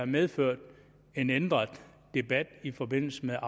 medført en ændret debat i forbindelse med